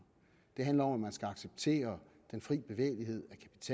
det handler om at man skal acceptere den fri bevægelighed